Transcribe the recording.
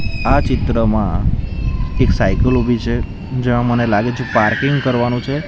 આ ચિત્રમાં એક સાયકલ ઉભી છે જ્યાં મને લાગે છે પાર્કિંગ કરવાનું છે.